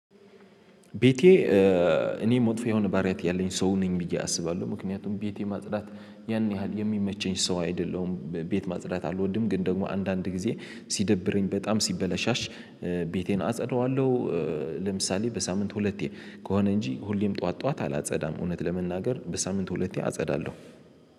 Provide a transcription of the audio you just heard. ቤቴ። እኔ መጥፎ የሆነ ባሪያት ያለኝ ሰው ነኝ ብዬ አስባለሁ ምክንያቱም ቤቴ ማጽዳት ያን ያህል የሚመቸኝ ሰው አይደለሁም። ቤት ማጽዳት አልወድም ግን ደግሞ አንዳንድ ጊዜ ሲደብረኝ በጣም ሲበላሸሽ ቤቴን አጸደዋለሁ። ለምሳሌ በሳምንት ሁለቴ ከሆነ እንጂ ሁሌም ጠዋት ጠዋት አላጸዳም እውነት ለመናገር በሳምንቱ ሁለቴ አጸዳለሁ።